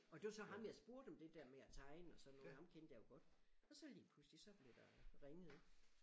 Og det var så ham jeg spurgte om det der med at tegne og sådan noget ham kendte jeg jo godt og så lige pludselig så blev der ringet ik